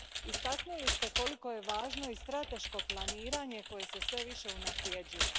Istaknuli ste koliko je važno i strateško planiranje koje se sve više unaprjeđuje.